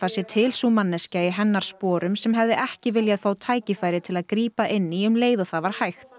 sé til sú manneskja í hennar sporum sem hefði ekki viljað fá tækifæri til að grípa inn í um leið og það var hægt